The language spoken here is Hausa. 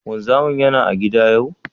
Wanzamin Yana a gida yau?